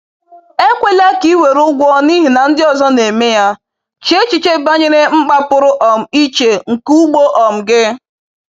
Ekwela ka ị were ụgwọ n’ihi na ndị ọzọ na-eme ya; chee echiche banyere mkpa pụrụ um iche nke ugbo um gị.